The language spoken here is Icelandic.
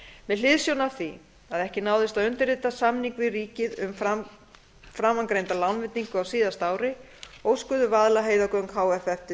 með hliðsjón af því að ekki náðist að undirrita samning við ríkið um framangreinda lánveitingu á síðasta ári óskuðu vaðlaheiðargöng h f eftir